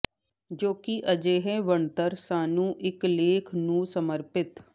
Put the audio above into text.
ਜੋ ਕਿ ਅਜਿਹੇ ਬਣਤਰ ਸਾਨੂੰ ਇਕ ਲੇਖ ਨੂੰ ਸਮਰਪਿਤ